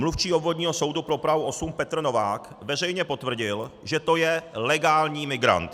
Mluvčí Obvodního soudu pro Prahu 8 Petr Novák veřejně potvrdil, že to je legální migrant.